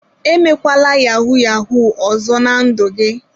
Emekwala yauu yahuu ọzọ na ndụ gị.